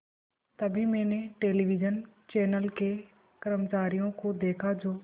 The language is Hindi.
तभी मैंने टेलिविज़न चैनल के कर्मचारियों को देखा जो